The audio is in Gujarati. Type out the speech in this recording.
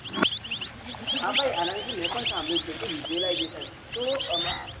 હા ભાઈ મેં પણ સાંભળ્યું છે કે visualization તો એમાં